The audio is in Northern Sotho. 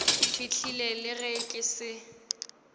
fihlile le ge ke se